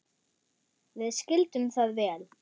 Við skildum það vel.